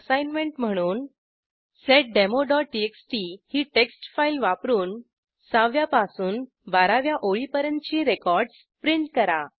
assignment म्हणून seddemoटीएक्सटी ही टेक्स्टफाईल वापरून 6व्या पासून 12व्या ओळीपर्यंतची रेकॉर्डस प्रिंट करा